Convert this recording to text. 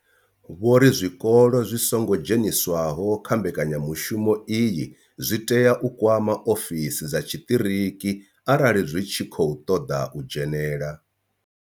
Vho ri zwikolo zwi songo dzheniswaho kha mbekanyamushumo iyi zwi tea u kwama ofisi dza tshiṱiriki arali zwi tshi khou ṱoḓa u dzhenela.